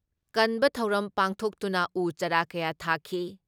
ꯀꯟꯕ ꯊꯧꯔꯝ ꯄꯥꯡꯊꯣꯛꯇꯨꯅ ꯎ ꯆꯥꯔꯥ ꯀꯌꯥ ꯊꯥꯈꯤ ꯫